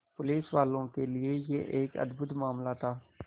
पुलिसवालों के लिए यह एक अद्भुत मामला था